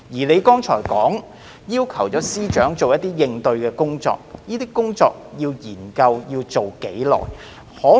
你剛才說司長會做一些應對工作，這些工作、研究要進行多久？